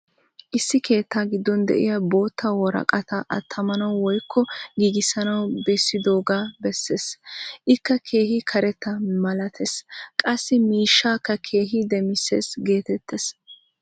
issi keettaa giddon diya bootta woraqataa attamanawu woykko giigissanawu bessidoogaa bessees. ikka keehi karetta malatees. qassi miishshaakka keehi demisses geetees.